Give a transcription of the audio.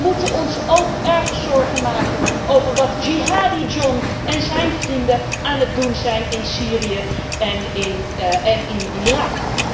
Maar wij moeten ons ook erg zorgen maken over wat Jihadi John en zijn vrienden aan het doen zijn in Syrië en in Irak.